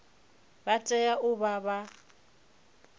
vha tea u vha vha